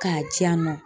K'a di yan nɔ